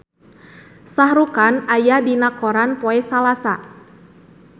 Shah Rukh Khan aya dina koran poe Salasa